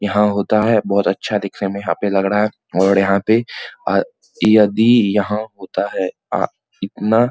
यहाँ होता है बहुत अच्छा दिखने में यहाँ पर लग रहा है और यहाँ पे यदि यहाँ होता है अ इतना --